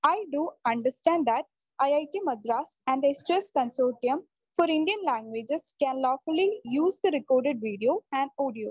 E do understand that IIT Madras and S2S consortium for Indian languages can lawfully use the record video and audio